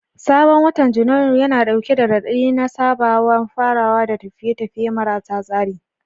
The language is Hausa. Sabon watan Janairu yana dauke da raɗaɗi na sababbin farawa da tafiye-tafiye marasa tsari.